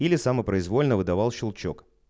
или самопроизвольно выдавал щелчок